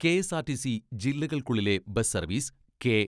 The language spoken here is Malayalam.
കെ.എസ്.ആർ.ടി.സി ജില്ലകൾക്കുള്ളിലെ ബസ് സർവ്വീസ് കെ.